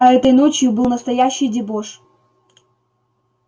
а этой ночью был настоящий дебош